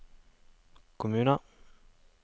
kommuner